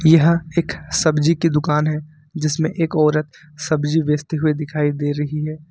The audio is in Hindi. यह एक सब्जी की दुकान है जिसमें एक औरत सब्जी बेचते हुए दिखाई दे रही है।